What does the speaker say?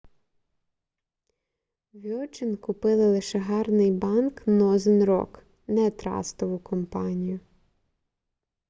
вьоджин купили лише гарний банк нозен рок не трастову компанію